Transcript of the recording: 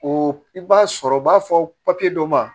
O i b'a sɔrɔ u b'a fɔ papiye dɔ ma